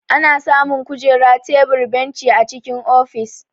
Ana samu Kujera, tebur, benci a cikin ofis.